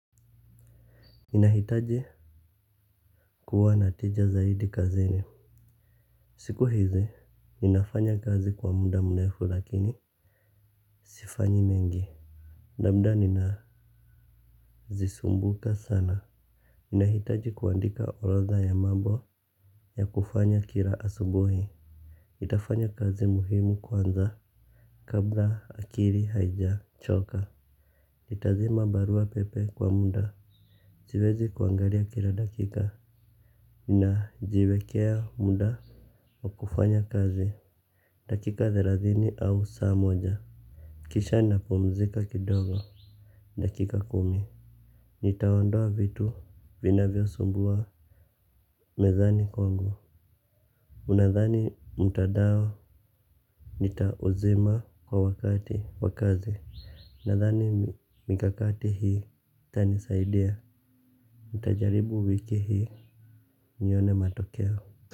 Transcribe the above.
Inahitaji kuwa natija zaidi kazini. Siku hizi, ninafanya kazi kwa muda mrefu lakini sifanyi mengi labda ninazisumbuka sana ninahitaji kuandika orodha ya mambo ya kufanya kila asubuhi nitafanya kazi muhimu kwanza kabla akili haijachoka nitazima barua pepe kwa muda siwezi kuangalia kila dakika ninajiwekea muda wakufanya kazi. Dakika thelathini au saa moja. Kisha napumzika kidogo. Dakika kumi. Nitaondoa vitu vinavyosumbua. Mezani kwangu. Ninadhani mtandao. Nitauzima kwa wakati wa kazi. Ninadhani mikakati hii. Itanisaidia. Nitajaribu wiki hii. Nione matokeo.